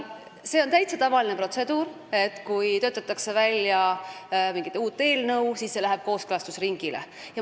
See on täiesti tavaline protseduur, et kui töötatakse välja mingit eelnõu, siis see läheb kooskõlastusringile.